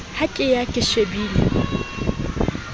ha ke ya ke shebile